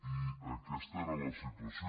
i aquesta era la situació